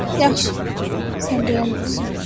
Yaxşı, sən dayan olsun.